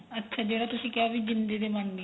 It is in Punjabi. ਅੱਛਾ ਜਿਹੜਾ ਤੁਸੀਂ ਕਿਹਾ ਵੀ ਜਿੰਦੀ ਤੇ ਬਣਦੀਆਂ